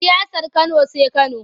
Siyasar Kano sai Kano.